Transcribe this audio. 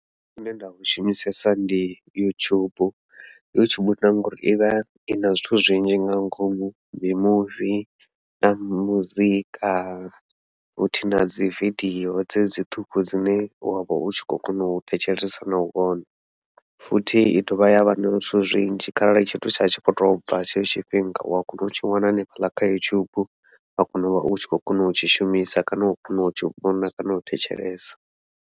Zwine nda zwi shumisesa ndi YouTube, YouTube na ngauri ivha ina zwithu zwinzhi nga ngomu mimuvi na muzika futhi nadzi vidio dzedzi ṱhukhu dzine wavha u tshi khou kona u thetshelesa nau vhona, futhi i dovha yavha na zwithu zwinzhi kharali tshithu tsha tshi khou tou bva tshetsho tshifhinga u wa kona u tshi vhona hanefhaḽa kha YouTube, wa kona uvha u tshi khou kona u tshi shumisa kana u kona u tshi vhona kana u thetshelesa.